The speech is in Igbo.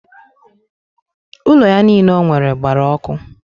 Ụlọ ya niile o nwere gbara ọkụ?